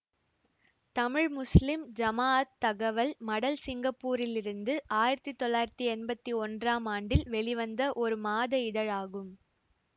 Tamil Muslim Jamaat தகவல் மடல் சிங்கப்பூரிலிருந்து ஆயிரத்தி தொள்ளாயிரத்தி எம்பத்தி ஒன்றாம் ஆண்டில் வெளிவந்த ஒரு மாத இதழாகும்